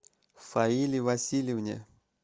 фаиле васильевне